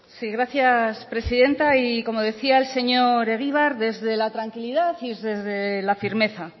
sí gracias presidenta y como decía el señor egibar y desde la tranquilidad y desde la firmeza